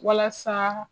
Walasa